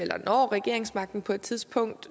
når regeringsmagten på et tidspunkt